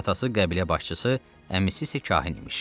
Atası qəbilə başçısı, əmisi isə kahin imiş.